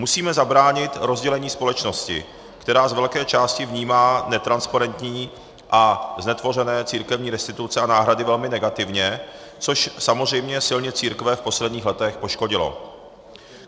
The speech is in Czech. Musíme zabránit rozdělení společnosti, která z velké části vnímá netransparentní a znetvořené církevní restituce a náhrady velmi negativně, což samozřejmě silně církve v posledních letech poškodilo.